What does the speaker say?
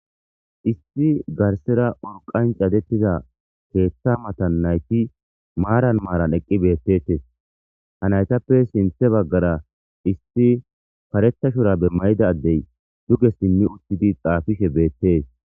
Issi garsera urqan cadettiza keeththa matan nayti maaran maaran eqqi beettetes ha naytappe sinthe baggara issi parethashora be mayida addey duge simmi uttidi xaafishe beettees.